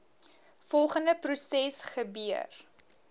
volgende proses gebeur